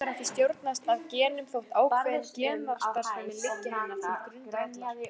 Hún lætur ekki stjórnast af genum þótt ákveðin genastarfsemi liggi henni til grundvallar.